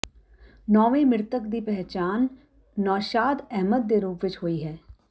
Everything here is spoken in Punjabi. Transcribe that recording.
ਨੌਵਾਂ ਮ੍ਰਿਤਕ ਦੀ ਪਹਿਚਾਣ ਨੌਸ਼ਾਦ ਅਹਿਮਦ ਦੇ ਰੂਪ ਵਿੱਚ ਹੋਈ ਹੈ